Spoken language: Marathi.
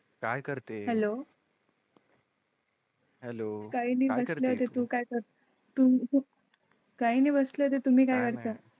काय करते हेलो हेलो असल्याने तूं काय तर तुम्ही? काही नाही बसले तर तुम्ही काय चा